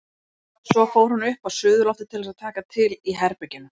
Svo fór hún upp á suðurloftið til þess að taka til í herberginu.